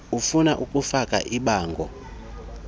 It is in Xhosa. ufuna ukufaka ibango